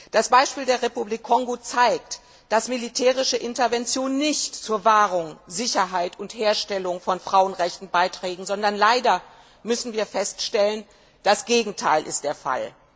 Das Beispiel der Republik Kongo zeigt, dass militärische Interventionen nicht zur Wahrung, Sicherheit und Herstellung von Frauenrechten beitragen, sondern leider müssen wir feststellen Das Gegenteil ist der Fall.